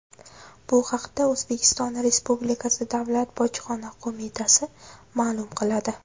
Bu haqda O‘zbekiston Respublikasi Davlat Bojxona qo‘mitasi ma’lum qiladi .